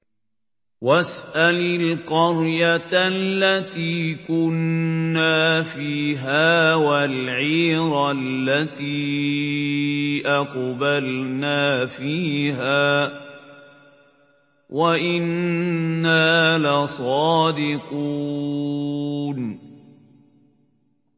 وَاسْأَلِ الْقَرْيَةَ الَّتِي كُنَّا فِيهَا وَالْعِيرَ الَّتِي أَقْبَلْنَا فِيهَا ۖ وَإِنَّا لَصَادِقُونَ